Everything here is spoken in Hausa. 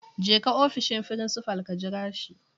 Jeka ofishin frincifal. ka jira shi